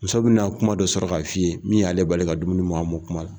Muso bɛna kuma dɔ sɔrɔ ka f'i ye min y'ale bali ka dumuni mɔn a mɔn kuma na.